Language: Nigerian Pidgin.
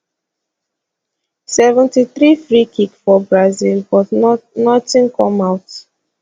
seventy three freekick for brazil but not not in come out